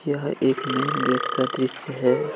यह एक main gate का दृश्य है।